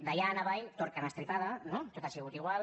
d’allà en avall tot carn estripada no tot ha sigut igual